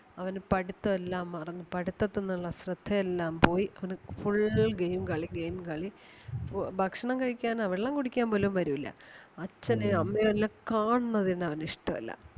അവന് പഠിത്തം എല്ലാം മറന്ന് പഠിത്തത്തിന്ന് ഒള്ള ശ്രദ്ധ എല്ലാം പോയി അവന് full game കളി game കളി ഫു ഭക്ഷണം കഴിക്കാനോ വെള്ളം കുടിക്കാൻ പോലും വരൂല്ല. അച്ഛനേം അമ്മയേം എല്ലാം കാണണത് തന്നെ അവന് ഇഷ്ട്ടവല്ല.